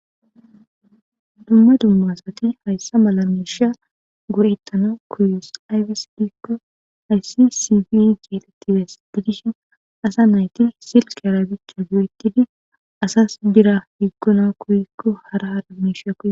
Dumma dumma asati haysa mala misha go'etanaw koyetes aybas giko haysi sibi carqe gidishin asa nayti silkera oykidi asas bira yedana koyiko hara adimishi